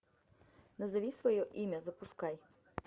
назови свое имя запускай